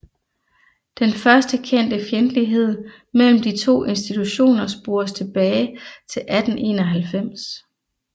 Den første kendte fjendtlighed mellem de to institutioner spores tilbage til 1891